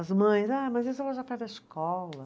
As mães, ah, mas isso escola.